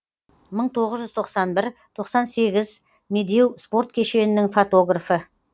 мың тоғыз жүз тоқсан бір тоқсан сегіз медеу спорт кешенінің фотографы